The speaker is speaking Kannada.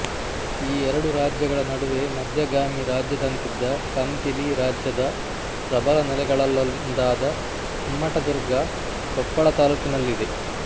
ಈ ಎರಡು ರಾಜ್ಯಗಳ ನಡುವೆ ಮಧ್ಯಗಾಮಿ ರಾಜ್ಯದಂತಿದ್ದ ಕಂಪಿಲಿ ರಾಜ್ಯದ ಪ್ರಬಲ ನೆಲೆಗಳಲ್ಲೊಂದಾದ ಕುಮ್ಮಟದುರ್ಗ ಕೊಪ್ಪಳ ತಾಲ್ಲೂಕಿನಲ್ಲಿದೆ